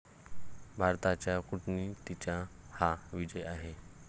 भारताच्या कूटनीतीचा हा विजय आहे.